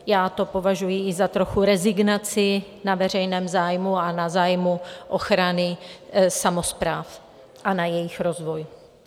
Já to považuji i za trochu rezignaci na veřejné zájmy a na zájmy ochrany samospráv a na jejich rozvoj.